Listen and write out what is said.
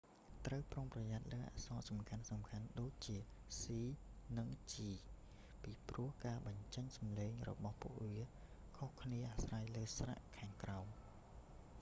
ត្រូវប្រុងប្រយ័ត្នលើអក្សរសំខាន់ៗដូចជា c និង g ពីព្រោះការបញ្ចេញសម្លេងរបស់ពួកវាខុសគ្នាអាស្រ័យលើស្រៈខាងក្រោម